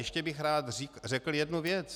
Ještě bych rád řekl jednu věc.